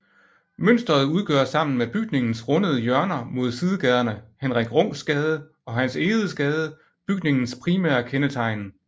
Mønstret udgør sammen med bygningens rundede hjørner mod sidegaderne Henrik Rungs Gade og Hans Egedes Gade bygningens primære kendetegn